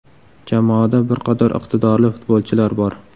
Jamoada bir qator iqtidorli futbolchilar bor.